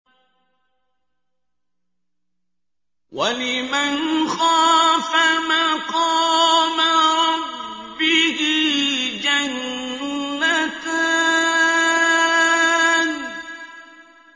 وَلِمَنْ خَافَ مَقَامَ رَبِّهِ جَنَّتَانِ